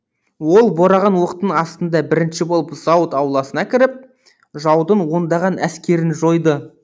ол бораған оқтың астында бірінші болып зауыт ауласына кіріп жаудың ондаған әскерін жойды